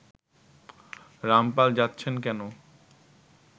রামপাল যাচ্ছেন কেন